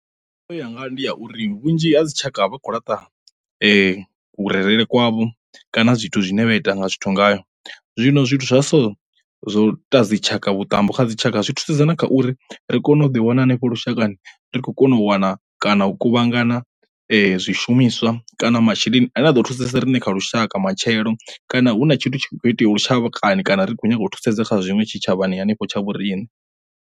Yanga ndi ya uri vhunzhi ha dzi tshaka vha khou laṱa vhurereli kwavho kana zwithu zwine vha ita nga zwithu ngayo, zwino zwithu zwa so zwo tou dzitshaka vhuṱambo kha dzi tshaka zwi thusedza na kha uri ri kone u ḓi wana hanefho lushakani ri khou kona u wana kana hu kuvhangana zwishumiswa kana masheleni ane a ḓo thusesa riṋe kha lushaka matshelo kana hu na tshithu hu kho itea lushakani kana ri kho nyaga u thusedza kha zwiṅwe tshitshavhani hanefho tsha vho riṋe.